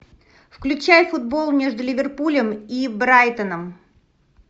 включай футбол между ливерпулем и брайтоном